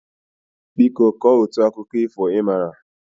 Bịa kọọ otu akụkọ ifo ị maara!